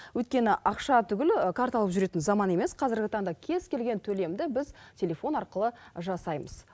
өйткені ақша түгілі карта алып жүретін заман емес қазіргі таңда кез келген төлемді біз телефон арқылы жасаймыз